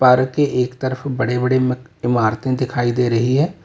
Park के एक तरफ बड़े बड़े इमारतें दिखाई दे रही है।